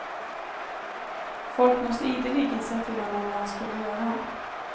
Folk måste ideligen säga till honom vad han skulle göra.